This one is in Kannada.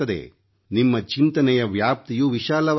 ನಿಮ್ಮ ಚಿಂತನೆಯ ವ್ಯಾಪ್ತಿಯು ವಿಶಾಲವಾಗುತ್ತದೆ